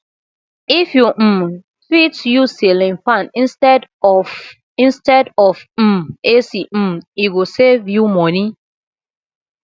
if you um fit use ceiling fan instead of instead of um ac um e go save you money